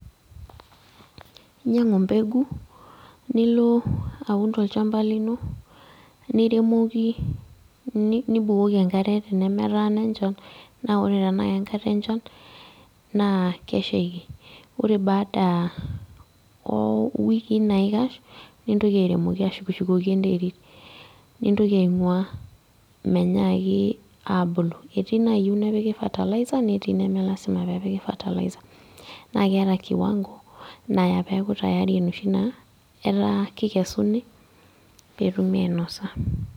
Inyang'u mbegu, nilo aun tolchamba lino, niremoki nibukoki enkare tenemetaana enchan, na ore tenaa kenkare enchan, naa keshaiki. Ore baada owikii naikash, nintoki airemoki ashukshukoki enterit. Nintoki aing'ua menyaaki abulu. Etii nayieu nepiki fertiliser, netii neme lasima pepiki fertiliser. Na keeta kiwango naya peku tayari enoshi naa, etaa kikesuni, petumi ainosa.